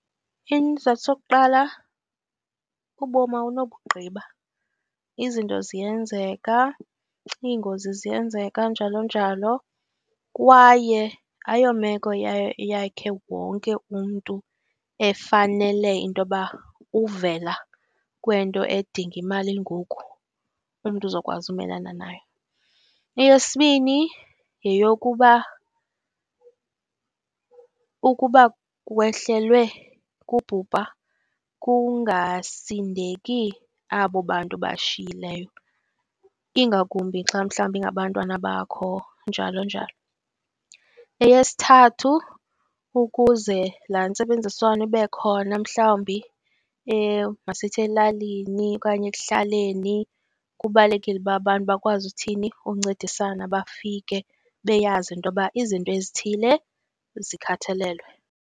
Isizathu sokuqala ubomi awunobugqiba, izinto ziyenzeka, iingozi ziyenzeka njalo, njalo, kwaye ayomeko yayo, yakhe wonke umntu efanele into yoba uvela kwento edinga imali ngoku, umntu uzokwazi umelana nayo. Eyesibini, yeyokuba ukuba wehlelwe kubhubha kungasindeki abo bantu obashiyileyo, ingakumbi xa mhlawumbi ingabantwana bakho njalo, njalo. Eyesithathu, ukuze laa nzebenziswano ibe khona mhlawumbi masithi elalini okanye ekuhlaleni, kubalulekile uba abantu bakwazi uthini, uncedisana bafike beyazi into yoba izinto ezithile zikhathalelwe.